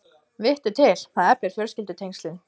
Vittu til, það eflir fjölskyldutengslin.